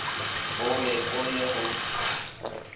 o be o le go